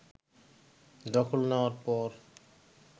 দখল নেওয়ার পর